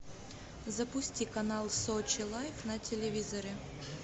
запусти канал сочи лайв на телевизоре